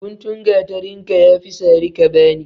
Guntun gateren ka, ya fi sara ka bani.